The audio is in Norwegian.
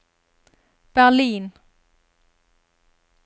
Berlin